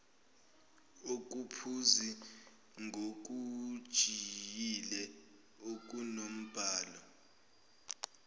okuphuzi ngokujiyile okunombala